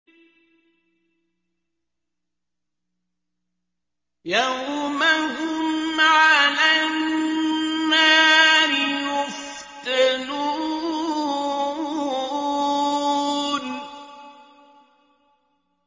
يَوْمَ هُمْ عَلَى النَّارِ يُفْتَنُونَ